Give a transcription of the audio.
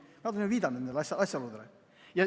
Nad on viidanud nendele asjaoludele.